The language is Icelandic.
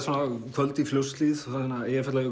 kvöld í Fljótshlíð